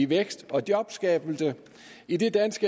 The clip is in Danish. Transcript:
vækst og jobskabelse idet dansk